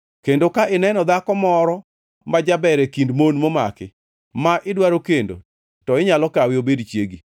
kendo ka ineno dhako moro ma jaber e kind mon momaki, ma idwaro kendo to inyalo kawe obed chiegi.